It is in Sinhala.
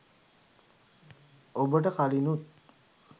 ඔබට කලිනුත්